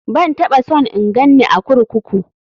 Ban taɓa son in ganni a kurkuku.